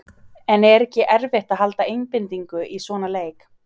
En er ekki erfitt að halda einbeitingu í svona leik?